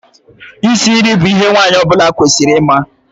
Isi nri bụ ihe nwaanyị ọbụla kwesịrị ịma.